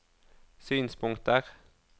synspunkter